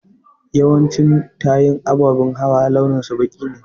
Yawancin tayun ababen hawa launin su baƙi ne.